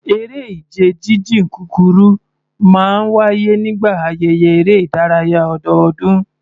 Eré ìje jíjìn kúkúrú máa ń wáyé nígbà ayẹyẹ eré ìdárayá ọdọọdún